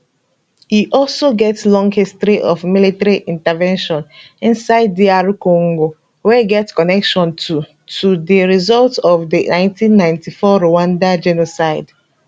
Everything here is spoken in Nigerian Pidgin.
e also get long history of military intervention inside dr congo wey get connection to to di result of di 1994 rwanda genocide